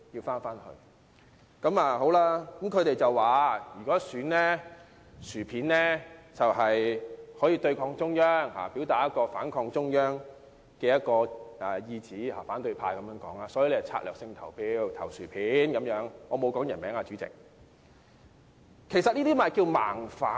反對派說到，如果選"薯片"可以對抗中央，表達反抗中央的意向，所以會策略性地投票給"薯片"——代理主席，我沒有提任何人姓名——其實，這就是"盲反"。